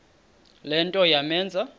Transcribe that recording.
le nto yamenza